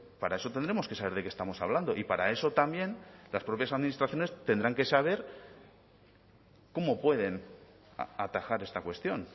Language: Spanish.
para eso tendremos que saber de qué estamos hablando y para eso también las propias administraciones tendrán que saber cómo pueden atajar esta cuestión